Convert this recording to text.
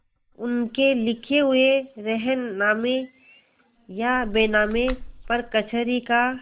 उनके लिखे हुए रेहननामे या बैनामे पर कचहरी का